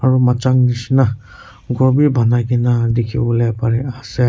aro machang neshina ghor bhi banaikena dekhibole pari ase.